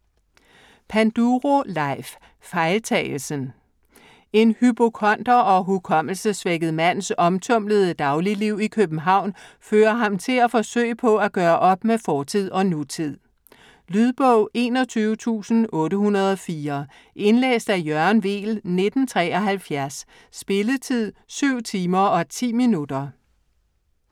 Panduro, Leif: Fejltagelsen En hypokonder og hukommelsessvækket mands omtumlede dagligliv i København, fører ham til at forsøge på at gøre op med fortid og nutid. Lydbog 21804 Indlæst af Jørgen Weel, 1973. Spilletid: 7 timer, 10 minutter.